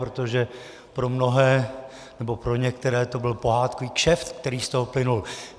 Protože pro mnohé, nebo pro některé, to byl pohádkový kšeft, který z toho plynul.